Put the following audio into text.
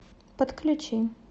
подключи